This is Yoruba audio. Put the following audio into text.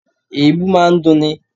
Èébú máa ń dunni